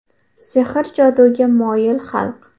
Sehr-joduga moyil xalq.